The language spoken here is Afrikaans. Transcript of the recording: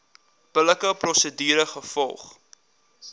billike prosedure gevolg